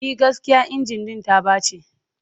E, gaskiya injin ɗin ta ɓace.